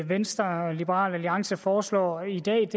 venstre og liberal alliance foreslår i dag